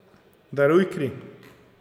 Daruj kri.